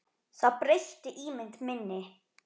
Það breytti ímynd minni.